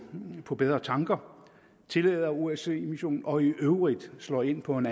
på bedre tanker tillader osce missionen og i øvrigt slår ind på en